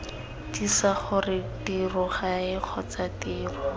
tiisa gore tirogae kgotsa tiro